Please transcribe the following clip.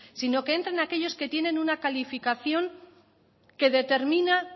sino que entren aquellos que tienen una calificación que determina